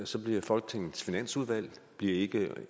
så bliver folketingets finansudvalg ikke